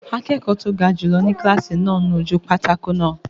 Akẹ́kọ̀ọ́ tó ga jùlọ ni kílásì náà ń nu ojú pátákó náà